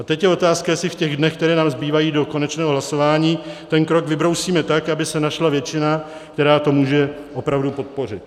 A teď je otázka, jestli v těch dnech, které nám zbývají do konečného hlasování, ten krok vybrousíme tak, aby se našla většina, která to může opravdu podpořit.